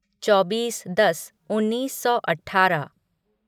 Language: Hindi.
चौबीस दस उन्नीस सौ अठारह